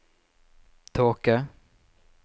tåke